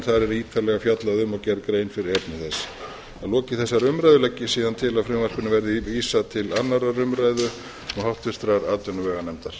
er ítarlega fjallað um og gerð grein fyrir efni þess að lokinni þessari umræðu legg ég síðan til að frumvarpinu verði vísað til annarrar umræðu og háttvirtrar atvinnuveganefndar